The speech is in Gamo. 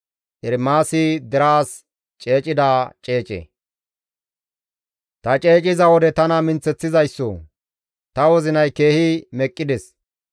Ta ceeciza wode tana minththeththizayssoo! Ta wozinay keehi meqqides.